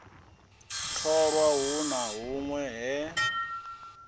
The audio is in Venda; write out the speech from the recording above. tholwa hu na hunwe he